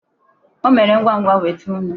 O mere ngwa ngwa weta nnu.